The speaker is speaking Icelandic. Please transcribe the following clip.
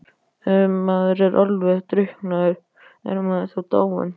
Ef maður er alveg drukknaður, er maður þá dáinn?